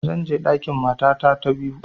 Zan je ɗakin matata ta biyu